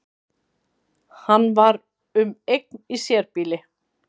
Hann var um eign í sérbýli